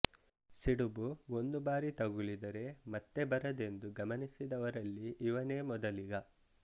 ಸಿಡುಬು ಒಂದು ಬಾರಿ ತಗುಲಿದರೆ ಮತ್ತೆ ಬರದೆಂದು ಗಮನಿಸಿದವರಲ್ಲಿ ಇವನೇ ಮೊದಲಿಗ